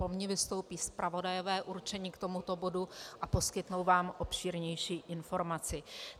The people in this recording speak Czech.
Po mně vystoupí zpravodajové určení k tomuto bodu a poskytnou vám obšírnější informaci.